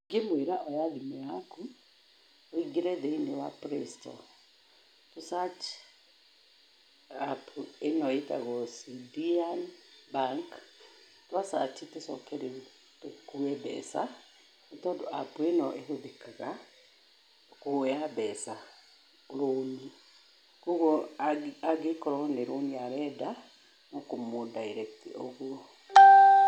Ingĩmwĩra oya thimũ yaku, ũingĩre thĩ-inĩ wa playstore tũ search app ĩno ĩgwĩtwo Sidian Bank, twa search tũcoke rĩu tũkue mbeca, nĩ tondũ app ĩno ĩhũthĩkaga, kuoya mbeca, rooni, kwoguo angĩkorwo nĩ rũni arenda, no kũmũ direct ũguo.